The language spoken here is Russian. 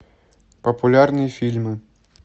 популярные фильмы